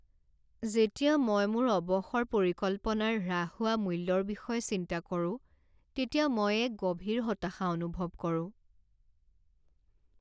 যেতিয়া মই মোৰ অৱসৰ পৰিকল্পনাৰ হ্ৰাস হোৱা মূল্যৰ বিষয়ে চিন্তা কৰোঁ তেতিয়া মই এক গভীৰ হতাশা অনুভৱ কৰোঁ।